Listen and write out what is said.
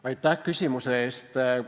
Aitäh küsimuse eest!